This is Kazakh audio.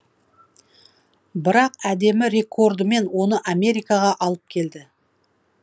бірақ әдемі рекордымен оны америкаға алып келді